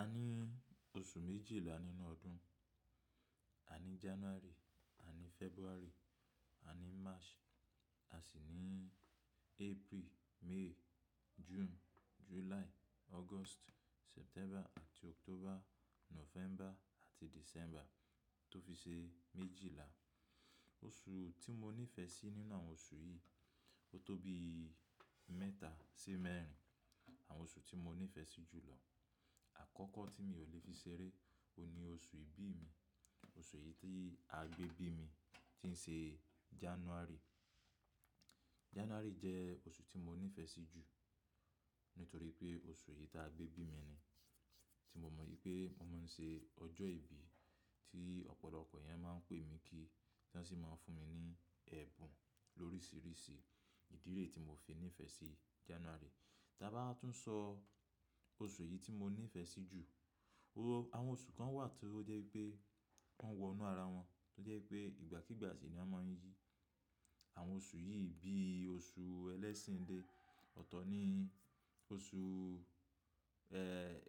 A ní oṣù méjìlá nínú ọdún. A ní January, a ní February, a ní March, a sì ní April, May, June, July, August, September àti October, November àti December tó fi ṣe méjìlá. Oṣù tí mo nífẹ̀ sí nínú àwọn oṣù yìí, ó tó bí mẹ́ta sí mẹ́rin àwọn oṣù tí mo nífẹ̀ sí jù lọ. Àkọ́kọ́ tí mi ò lè fi ṣeré, òun ni oṣù ìbí mi. Oṣù yìí tí a gbé bí mi, tí ń ṣe January. January jẹ́ oṣù tí mo nífẹ̀ sí jù nítorí pé oṣù yìí ta gbé bí mi ni, tí mo mọ̀ wípé mo máa ń ṣe ọjọ́ ìbí tí ọ̀pọ̀lọpọ̀ èèyàn máa ń pè mí kí ti wọ́n sì máa ń fún mi ní ẹ̀bùn lóríṣiríṣi ìdí ré tí mo fi nífẹ̀ sí January. Tàbà wa tún sọ oṣù yìí tí mo nífẹ̀ sí jù, àwọn oṣù kan wà tí ó jẹ́ wipé wọ́n wọ inú ara wọn, tó jẹ́ wipé ìgbàkígbà sì ni a máa ń yí àwọn oṣù yìí bí i oṣù ẹlẹ́sìn de, ọ̀tọ̀ ni oṣù,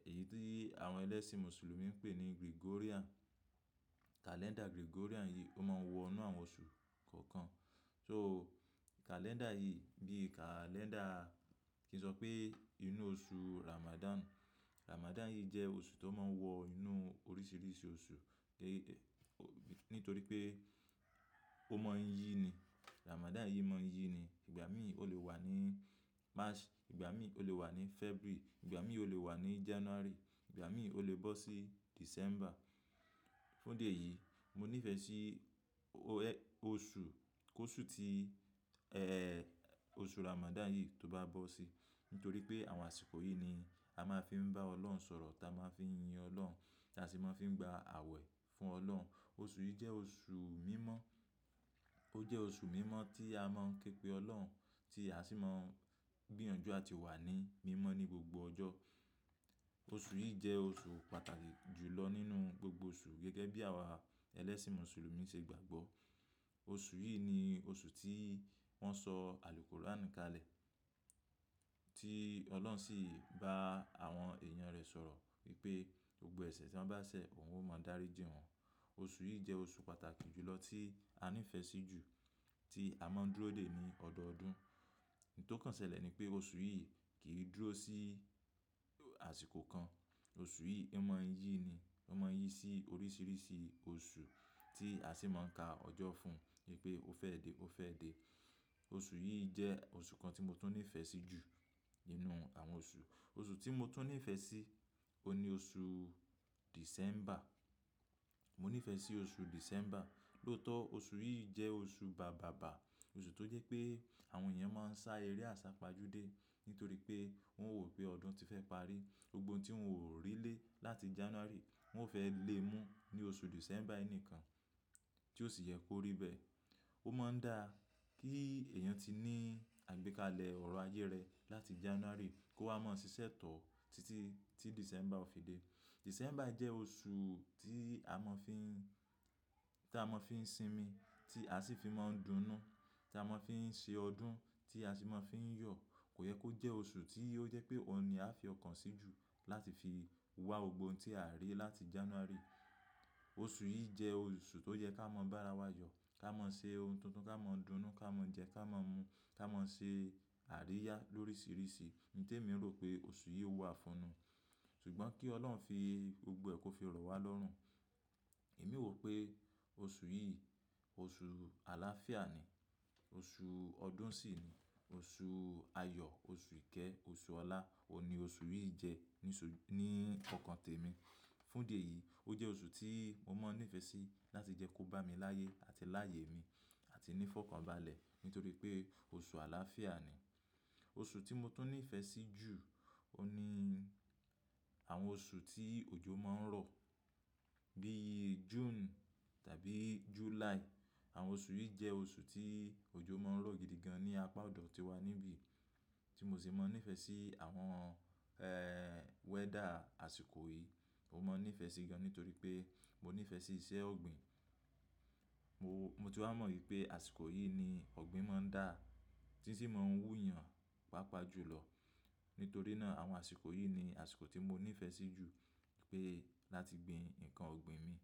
èyí tí àwọn ẹlẹ́sìn Mùsùlùmí ń pè ní Gregorian. Kalẹ́ndà Gregorian yìí ó máa ń wọ inú àwọn oṣù kọ̀ọ̀kan. So kalẹ́ndà yìí bí i kalẹ́ndà kí n sọ pé inú oṣù Ramadan. Ramadan yìí jẹ́ oṣù tó máa ń wọ inú oríṣiríṣi oṣù, nítorí pé ó maa ń yí ni. Ramadan yìí mọ ń yí ni. Ìgbà mí ò lè wà ní March, ìgbà mí ò lè wà ní February, ìgbà mí ò lè wà ní January, ìgbà mí ò lè bọ́ sí December. Fún idí ẹ̀yì, mo nífẹ̀ẹ́ sí oṣù, kó oṣù tí oṣù Ramadan yìí tó bá bọ́ sí, nítorí pé àwọn àsìkò yìí ni a máa fi ń bá Ọlọ́run sọ̀rọ̀, ta máa fi ń yin Ọlọ́run, tí a sì máa fi ń gba àwẹ̀ fún Ọlọ́run. Oṣù yìí jẹ́ oṣù mímọ́. Ó jẹ́ oṣù mímọ́ tí a máa ń képe Ọlọ́run, tí a sì máa ń gbìyànjú àti wà ní mímọ́ ní gbogbo ọjọ́. Oṣù yìí jẹ́ oṣù pàtàkì jù lọ nínú gbogbo oṣù gẹ́gẹ́ bí àwa ẹlẹ́sìn Mùsùlùmí ṣe gbàgbọ́. Oṣù yìí ni oṣù tí wọ́n sọ àlùkòráni kalẹ̀, tí Ọlọ́run sì bá àwọn èèyàn rẹ̀ sọ̀rọ̀ wípé gbogbo ẹ̀ṣẹ̀ tí wọ́n bá ṣẹ̀, òun ó máa dárí jí wọ̀n. Oṣù yìí jẹ́ oṣù pàtàkì jù lọ tí a nífẹ̀ sí jù tí a máa ń dúró dè ní ọdọọdún. Oun to kàn ṣẹlẹ̀ ni pé oṣù yìí kì í dúró sí àsìkò kan. Oṣù yìí ó máa ń yí ni. Ó máa ń yí sí oríṣiríṣi oṣù tí a sì máa ń ka ọjọ́ fún wipé ó fẹ́ dé, ó fẹ́ dé. Oṣù yìí jẹ́ oṣù kan tí mo tún nífẹ̀ẹ́ sí jù nínú àwọn oṣù. Oṣù tí mo tún nífẹ̀ẹ́ sí, òun ni oṣù December. Mo nífẹ̀ẹ́ sí oṣù December. Lótọ̀ oṣù yìí jẹ́ oṣù bàbàbà. Oṣù tó jẹ́ pé àwọn èèyàn máa ń sá eré àsápajúdé nítorí pé wọ́n wò pé ọdún ti fẹ́ parí. Gbogbo ohun tí wọ́n ò rí lé láti January wọ́n ó fẹ́ lé mú ní oṣù December yii nìkan tí ó sì yẹ kó rí bẹ́ẹ̀. Ó máa ń da kí èèyàn ti ní àgbékalẹ̀ ọ̀rọ̀ ayé rẹ láti January kó wá máa ṣiṣẹ́ tọ̀ títí tí December ó fi dé. December jẹ́ oṣù tí a máa fi ń, tí a máa fi ń sinmi, tí a sì fi máa ń dunú, tí a máa fi ń ṣe ọdún, tí a sì máa fi ń yọ̀. Kò yẹ kó jẹ́ oṣù tí ó jẹ́ pé òun ni a fi ọkàn sí jù láti fi wá gbogbo ohun tí aa rí láti January. Oṣù yìí jẹ́ oṣù tó yẹ ká maa bá ara wa yọ̀, ká maa ṣe ohun tuntun, ká maa dunú, ká maa jẹ, ká maa mu, ká maa ṣe àríyá lóríṣiríṣi. Ohun tèmi rò pé oṣù yìí wà fún nu. Sugbọn kí Ọlọ́run fi gbogbo ẹ̀ kó fi rọ̀ wá lọ́rùn. Èmi wò pé oṣù yìí oṣù àlàáfíà ni, oṣù ọdún sì ni, oṣù ayọ̀, oṣù ìkẹ́, oṣù ọlá òhun ni oṣù yìí jẹ́ ní ọkàn tèmi. Fún idí ẹ̀yìí, ó jẹ́ oṣù tí mo máa ń nífẹ̀ sí láti jẹ́ kó bá mi láyé àti láyè mi àti ní fọkànbalẹ̀ nítorí pé oṣù àlàáfíà ni. Oṣù tí mo tún nífẹ̀ẹ́ sí jù òhun ni àwọn oṣù tí òjò máa ń rọ̀ bíi June tàbí July. Àwọn oṣù yìí jẹ́ oṣù tí òjò máa ń rọ̀ gidi gan ní apá ọ̀dọ̀ tíwa níbí tí mo sì máa ń nífẹ̀ sí àwọn weather àsìkò yìí. Mo máa ń nífẹ̀ sí gan nítorí pé mo nífẹ̀ sí iṣẹ́ ọ̀gbìn. Mo tún wá mọ̀ wípé àsìkò yìí ni ọ̀gbìn máa ń dà tí sì máa ń wúyan pàápàá jù lọ. Nítorí naà àwọn àsìkò yìí ni àsìkò tí mo nífẹ̀ sí jù pé láti gbin ǹkan ọ̀gbìn mi.